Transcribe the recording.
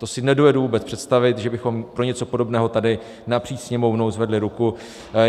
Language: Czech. To si nedovedu vůbec představit, že bychom pro něco podobného tady napříč Sněmovnou zvedli ruku.